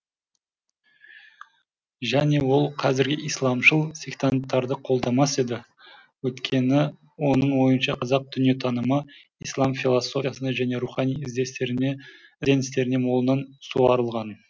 және ол қазіргі исламшыл сектанттарды қолдамас еді өйткені оның ойынша қазақ дүниетанымы ислам философиясына және рухани ізденістеріне молынан суарылған